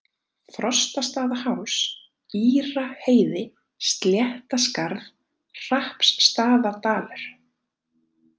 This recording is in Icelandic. Frostastaðaháls, Íraheiði, Sléttaskarð, Hrappsstaðadalur